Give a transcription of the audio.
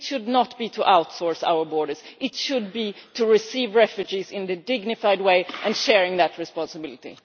It should not be to outsource our borders, it should be to receive refugees in a dignified way and to share that responsibility.